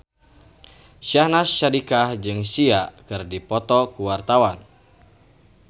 Syahnaz Sadiqah jeung Sia keur dipoto ku wartawan